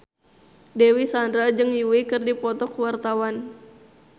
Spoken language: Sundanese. Dewi Sandra jeung Yui keur dipoto ku wartawan